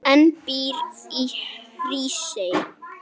en býr í Hrísey.